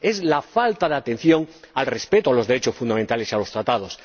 Es la falta de atención al respeto de los derechos fundamentales y de los tratados.